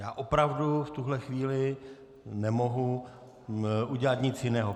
Já opravdu v tuhle chvíli nemohu udělat nic jiného.